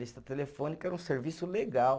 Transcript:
Lista telefônica era um serviço legal.